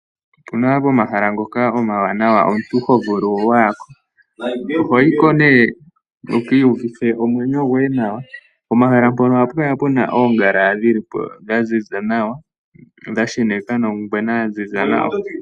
Opu na pomahala mpoka omawanawa omuntu ho vulu wa ya ko, oho yi ko nee wu ka uvithe omwenyo goye nawa. Pomahala mpono ohapu kala pu na oongala dha ziza nawa dha sheneka nongwena ya ziza nawa.